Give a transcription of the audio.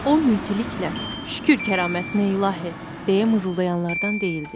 O mültiliklə, şükür kəramətinə ilahi, deyə mızıldayanlardan deyildi.